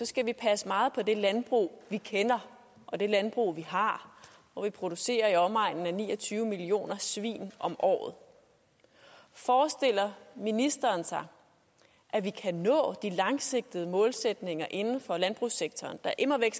skal vi passe meget på det landbrug vi kender og det landbrug vi har hvor vi producerer i omegnen af ni og tyve millioner svin om året forestiller ministeren sig at vi kan nå de langsigtede målsætninger inden for landbrugssektoren der immer væk